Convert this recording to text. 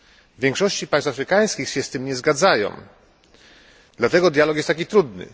W większości państw afrykańskich się z tym nie zgadzają, dlatego dialog jest taki trudny.